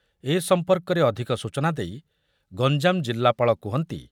ଏ ସମ୍ପର୍କରେ ଅଧିକ ସୂଚନା ଦେଇ ଗଞ୍ଜାମ ଜିଲ୍ଲାପାଳ କୁହନ୍ତି